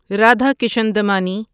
Radhakishan Damani